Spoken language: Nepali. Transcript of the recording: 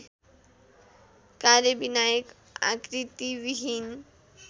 कार्यविनायक आकृतिविहीन